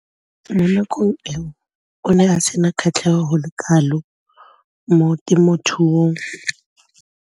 Mo nakong eo o ne a sena kgatlhego go le kalo mo temothuong.